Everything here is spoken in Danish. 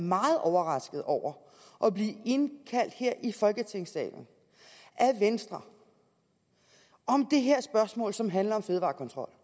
meget overrasket over at blive indkaldt her i folketingssalen af venstre om det her spørgsmål som handler om fødevarekontrol